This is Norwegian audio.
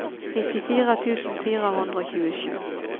nittifire tusen fire hundre og tjuesju